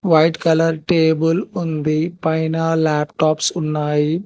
White colour table ఉంది పైన laptops ఉన్నాయి.